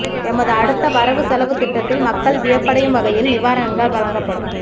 எமது அடுத்த வரவு செலவு திட்டத்தில் மக்கள் வியப்படையும் வகையில் நிவாரணங்கள் வழங்கப்படும்